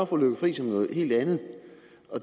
fru lykke friis om noget helt andet